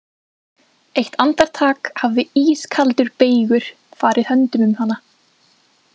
Eitt andartak hafði ískaldur beygur farið höndum um hana.